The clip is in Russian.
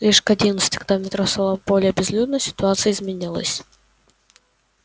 лишь к одиннадцати когда в метро стало более безлюдно ситуация изменилась